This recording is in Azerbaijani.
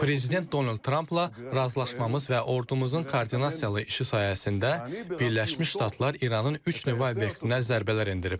Prezident Donald Trampla razılaşmamız və ordumuzun koordinasiyalı işi sayəsində Birləşmiş Ştatlar İranın üç nüvə obyektinə zərbələr endirib.